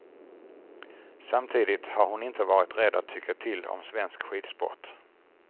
Samtidigt har hon inte varit rädd att tycka till om svensk skidsport.